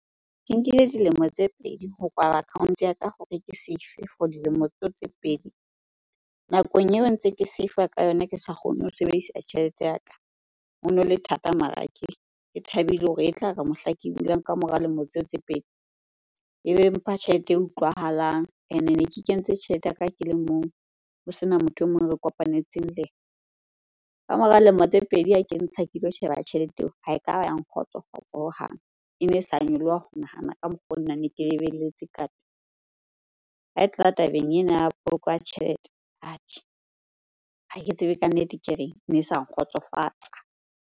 Ke nkile dilemo tse pedi ho kwala account ya ka hore ke save-er for dilemo tseo tse pedi. Nakong eo ntse ke save ka yona ke sa kgone ho sebedisa tjhelete ya ka, hono le thata mara ke thabile hore e tlare mohla ke bulang kamora lemo tseo tse pedi ebe mpha tjhelete e utlwahalang. Ene ne ke kentse tjhelete ya ka ke le mong, ho sena motho e mong re kopanetseng le yena. Ka mora lemo tse pedi ha kentsha ke lo sheba tjhelete eo, ha ekaba ya nkgotsofatsa hohang. E ne e sa nyoloha ho nahana ka mokgwa oo nna ne ke lebelletse ka . Ha e tla tabeng ena ya poloko ya tjhelete atjhe, ha ke tsebe ka nnete ke reng. Ne sa nkgotsofatsa.